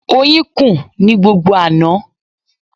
Oyin kùn ní gbogbo àná.